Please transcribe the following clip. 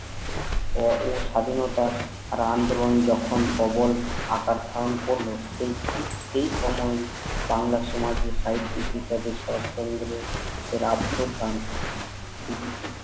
ও স্বাধীনতা ছাড়া আন্দলন যখুন কভোর আকার ধারণ করলেন সেই ঠিক সেই সময়েই বাংলার সমাজ ও সাহিত্যিক হিসাবে শরৎচন্দ্র এর রাজ্যটাং